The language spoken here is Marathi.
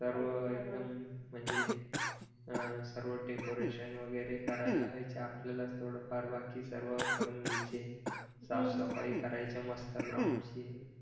सर्व म्हणजे अह सर्व डेकोरेशन वगैरे करायला लावायचे आपल्याला थोडं फार बाकी सर्व करून घ्यायचे साफसफाई करायचे मस्त ग्राउंडची